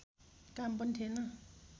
काम पनि थिएन